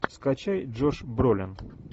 скачай джош бролин